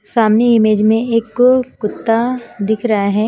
सामने इमेज में एक कुत्ता दिख रहा है।